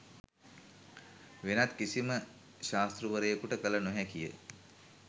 වෙනත් කිසිම ශාස්තෘවරයකුට කළ නොහැකි ය.